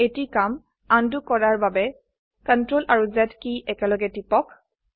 এটি কাম উণ্ড কৰাৰ বাবে CTRL আৰু Z কী একেলগে টিপক